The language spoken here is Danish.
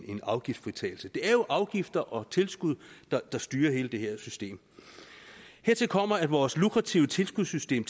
afgiftsfritagelse det er jo afgifter og tilskud der styrer hele det her system hertil kommer at vores lukrative tilskudssystem